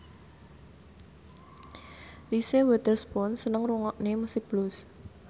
Reese Witherspoon seneng ngrungokne musik blues